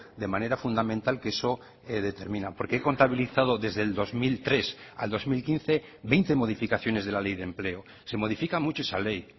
de manera fundamental que eso determina porque he contabilizado desde el dos mil tres al dos mil quince veinte modificaciones de la ley de empleo se modifica mucho esa ley